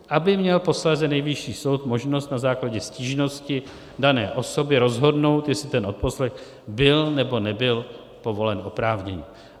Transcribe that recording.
Aby měl posléze Nejvyšší soud možnost na základě stížnosti dané osoby rozhodnout, jestli ten odposlech byl, nebo nebyl povolen oprávněně.